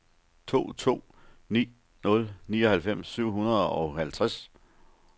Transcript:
to to ni nul nioghalvfems syv hundrede og halvtreds